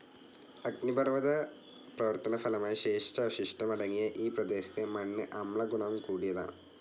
അഗ്നിപർവ്വത പ്രവർത്തനഫലമായി ശേഷിച്ച അവശിഷ്ടം അടങ്ങിയ ഈ പ്രദേശത്തെ മണ്ണ് അമ്ല ഗുണം കൂടിയതാണ്.